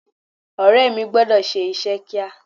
Ọ̀rẹ́ mi gbọ́dọ̀ ṣe iṣẹ́ kíá.